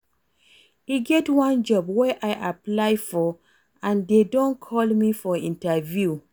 E get one job wey I apply for and dey don call me for interview